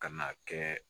Ka n'a kɛ